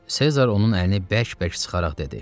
Sezar onun əlini bərk-bərk sıxaraq dedi: